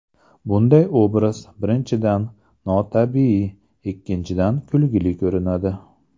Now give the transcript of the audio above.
Bunday obraz, birinchidan, notabiiy; ikkinchidan, kulgili ko‘rinadi.